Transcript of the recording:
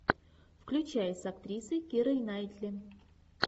включай с актрисой кирой найтли